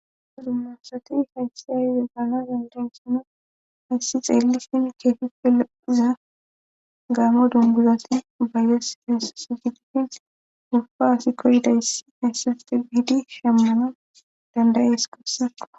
Dumma dumma asati hayssi hayize gaana zendansino hayssi xeellifin keefife loiza gaamo dunguzati bayyes hessigidifin gufa asi koridayssi heyssafe biidi shammana dandayees gussako